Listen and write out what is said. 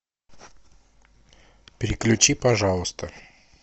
переключи пожалуйста